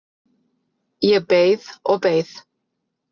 Ég beið og beið.